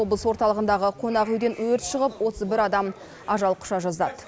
облыс орталығындағы қонақ үйден өрт шығып отыз бір адам ажал құша жаздады